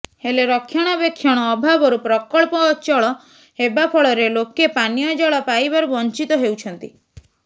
ହେଲେ ରକ୍ଷଣାବେକ୍ଷଣ ଅଭାବରୁ ପ୍ରକଳ୍ପ ଅଚଳ ହେବା ଫଳରେ ଲୋକେ ପାନୀୟ ଜଳ ପାଇବାରୁ ବଞ୍ଚିତ ହେଉଛନ୍ତି